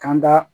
Kan da